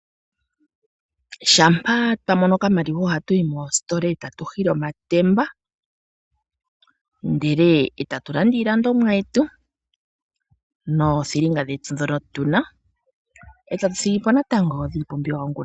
Shampa twamono okamaliwa ohatu yi mosiitila etatu hili omatemba ndele tatu landa iilandomwa yetu noothilinga dhetu dhoka tuna eta tu thigipo natango iipumbiwa yongula.